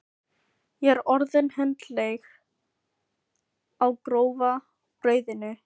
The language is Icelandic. Ég er orðin hundleið á grófa brauðinu!